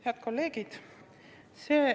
Head kolleegid!